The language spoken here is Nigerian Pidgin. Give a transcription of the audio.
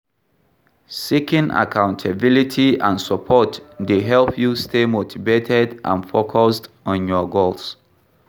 Seeking accountability and support dey help you stay motivated and focused on your goals.